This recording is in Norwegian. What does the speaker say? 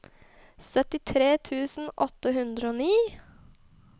syttitre tusen åtte hundre og ni